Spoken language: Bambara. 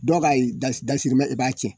Dɔw ka das dasirimɛ i b'a tiɲɛ